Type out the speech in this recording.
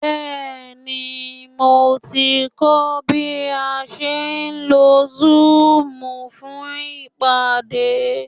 Bẹ́ẹ̀ni, mo ti ń kọ́ bí a ṣe ń lo zoom fún ìpàdé